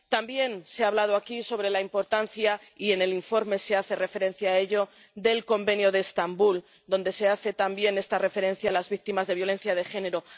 También se ha hablado aquí sobre la importancia —y en el informe se hace referencia a ello— del Convenio de Estambul, donde se hace también esta referencia a las víctimas de la violencia de género